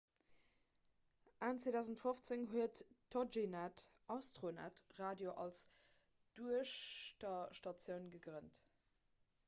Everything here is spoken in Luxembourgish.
enn 2015 huet toginet astronet radio als duechterstatioun gegrënnt